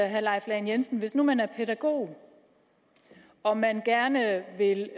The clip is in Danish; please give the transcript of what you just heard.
herre leif lahn jensen hvis nu man er pædagog og man gerne vil